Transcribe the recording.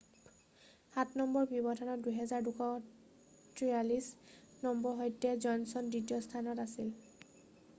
সাত নম্বৰৰ ব্যৱধানত 2,243 নম্বৰৰ সৈতে জনচন দ্বিতীয় স্থানত আছিল